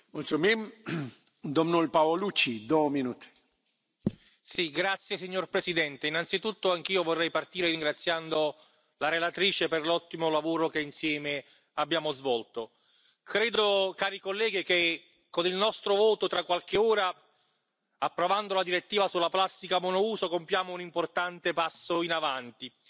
Signor Presidente, onorevoli colleghi, innanzitutto anch'io vorrei partire ringraziando la relatrice per l'ottimo lavoro che insieme abbiamo svolto. Credo, cari colleghi, che con il nostro voto tra qualche ora, approvando una direttiva sulla plastica monouso, compiamo un importante passo avanti